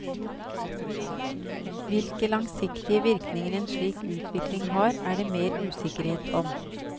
Hvilke langsiktige virkninger en slik utvikling har, er det mer usikkerhet om.